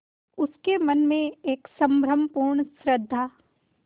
उसके मन में एक संभ्रमपूर्ण श्रद्धा